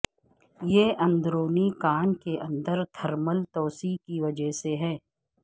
یہ اندرونی کان کے اندر تھرمل توسیع کی وجہ سے ہے